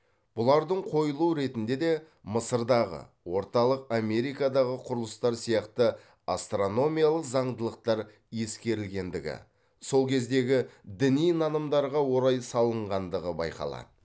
бұлардың қойылу ретінде де мысырдағы орталық америкадағы құрылыстар сияқты астрономиялық заңдылықтар ескерілгендігі сол кездегі діни нанымдарға орай салынғандығы байқалады